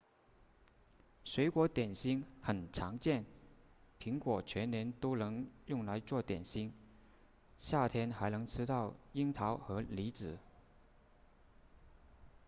水果点心很常见苹果全年都能用来做点心夏天还能吃到樱桃和李子